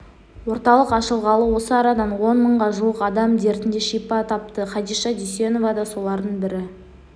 орталық ашылғалы осы арадан он мыңға жуық адам дертіне шипа тапты хадиша дүйсенова да солардың бірі